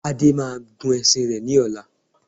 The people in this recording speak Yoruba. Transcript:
Ade máa gun ẹṣin rẹ ní ọ̀la